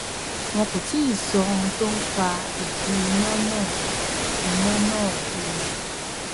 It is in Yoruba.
wọn kò tí ì sọ ohun tó fa ìdí iná náà iná náà o